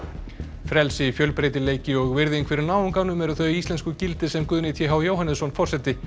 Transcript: frelsi fjölbreytileiki og virðing fyrir náunganum eru þau íslensku gildi sem Guðni t h Jóhannesson forseti